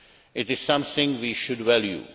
It is something we should value.